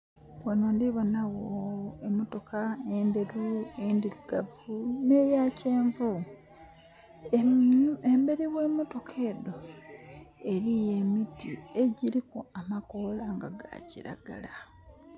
Ghano ndhi bonagho emotoka endheru, endhirugavu, n'eyakyenvu. Emberi gh'emotoka edho eriyo emiti egiriku amakoola nga ga kiragala.